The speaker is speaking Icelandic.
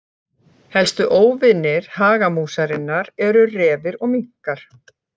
Helstu óvinir hagamúsarinnar eru refir og minkar.